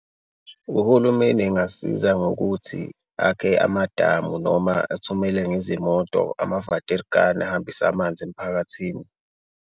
Uhulumeni engasiza ngokuthi akhe amadamu noma athumele ngezimoto ama-waterkan ahambise amanzi emphakathini.